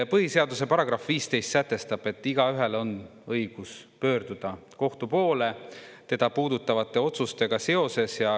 Põhiseaduse § 15 sätestab, et igaühel on õigus pöörduda kohtu poole teda puudutavate otsustega seoses.